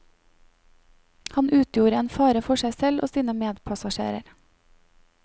Han utgjorde en fare for seg selv og sine medpassasjerer.